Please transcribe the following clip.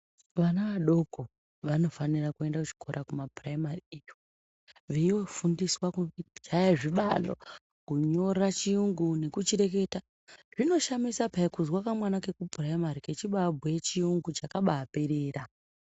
Vana adoko vanofanira kuenda kuzvikora kumaphuraimari iyo, veiofundiswa kuchaya zvibalo, kunyora chiyungu, nekuchireketa. Zvinoshamisa pheya kuzwa kamwana kekuphuraimari kechibaabhuye chiyungu chakabaaperera.